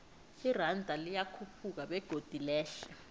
iranda liyakhuphuka begodu lehle